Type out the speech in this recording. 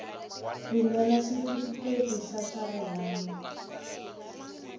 rhumela xitifiketi xa swa rihanyu